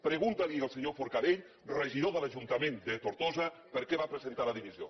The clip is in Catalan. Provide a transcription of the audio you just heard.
pregunte li al senyor forcadell regidor de l’ajuntament de tortosa per què va presentar la dimissió